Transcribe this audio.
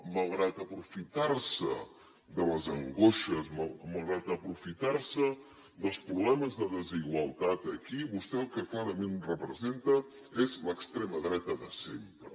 malgrat aprofitar se de les angoixes malgrat aprofitar se dels problemes de desigualtat aquí vostè el que clarament representa és l’extrema dreta de sempre